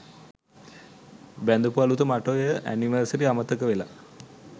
බැඳපු අලුත මට ඔය ඇනිවර්සරි අමතක වෙලා